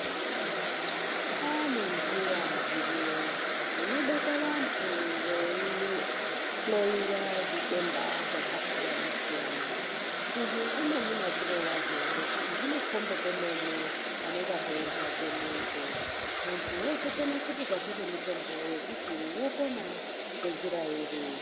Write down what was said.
Kwane ndiya dziriyo munobekwe vantu veihloyiwa zvitenda zvakasiyana siyana izvi zvine munakire wazvo nekuti zvinokombe pemene panenge peirwadze muntu, muntu wozotonasirirwazve nemitombo yekuti wopona ngenjira iri.